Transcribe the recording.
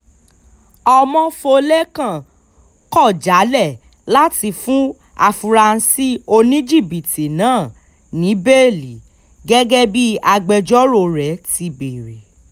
ọmọfọ́lẹ́kan kọ̀ jálẹ̀ láti fún afurasí oníjìbìtì náà ní bẹ́ẹ́lí gẹ́gẹ́ bí agbẹjọ́rò rẹ̀ ti bẹ̀ẹ̀rẹ̀